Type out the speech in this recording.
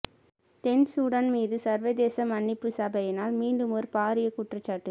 தென் Sudan மீது சர்வதேச மன்னிப்புச் சபையினால் மீண்டுமொரு பாரிய குற்றச்சாட்டு